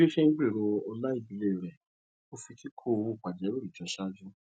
bí ó ṣe ń gbero ọla ìdílé rẹ ó fi kíkó owó pajawìrì jọ ṣáájú